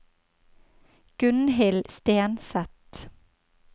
Gunnhild Stenseth